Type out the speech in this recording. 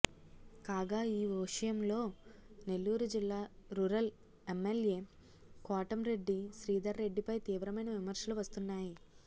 కాగా ఈ వోషయంలో నెల్లూరు జిల్లా రురల్ ఎమ్మెల్యే కోటం రెడ్డి శ్రీధర్ రెడ్డి పై తీవ్రమైన విమర్శలు వస్తున్నాయి